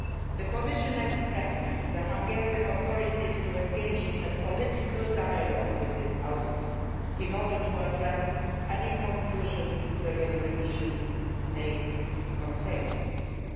Tavares. The Commission expects the Hungarian authorities to engage in political dialogue with this House in order to address any conclusions that the resolution may